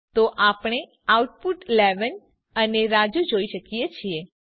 તો આપણે આઉટપુટ 11 અને રાજુ જોઈએ છીએ